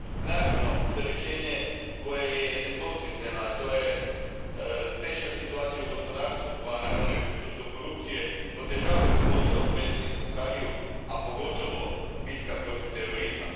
Naravno, opterećenje koje je nedvosmisleno, a to je teška situacija u gospodarstvu pa naravno i prisustvo korupcije, otežavaju posao predsjedniku Buhariju, a pogotovo bitka protiv terorizma.